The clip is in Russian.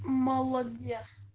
молодец